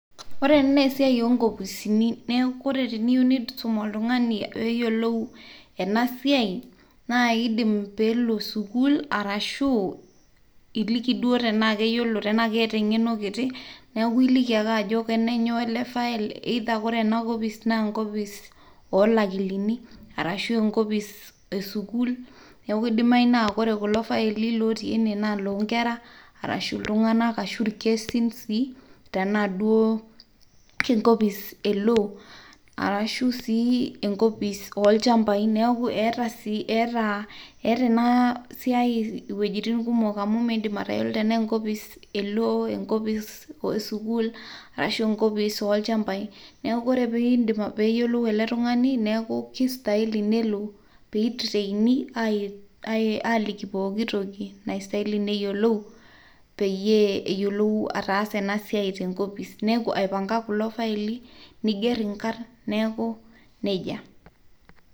Ore ena naa esiai oonkopisini neeku teniyieu niisum oltung'ani peeyiou ena siai naa iidim peelo sukuul arashu iliki duo tenaa keeta eng'eno kiti, neeku ailiki ake ajo kenenyoo ele file, either kore ena opis naa enkopis oolakilini arashu enkopis e sukuulneeku idimayu naa ore kulo file ootii ene naa iloonkera arahuiltung'anaka ashu irkesin sii tenaa enkopis duoo e law arashu sii enkopis olchampai , eeta ena siai iwuejitin kumok amu miidim atayiolo enaa enkopis e aw, enkopis e sukuul arasu enkopis olchambai. Neeku or pee eyiolou ele tung'ani neeku kistahili pee elo mi training aaliki pooki toki naistahili neyiolou peyue eyiolou ataasa ena siai te enkopis, aipanga kulo faili niigerr inkarn, neeku neija.